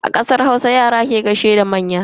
A kasar Hausa, Yara ke gaishe da manya.